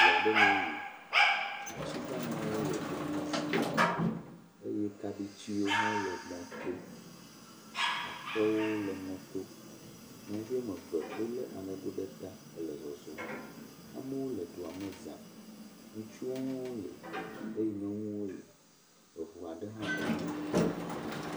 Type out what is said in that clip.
Dua ɖe mee yi, ati damawo le dua me za, eye kaɖitiwo hã wole mɔ to, aƒewo le mɔto, nyɔnuvi woame eve wolé aŋego ɖe ta le zɔzɔm, amewo le dua me za. Nyɔnuviwo le eye ŋutsuviwo le, eŋu aɖe hã le mɔ to.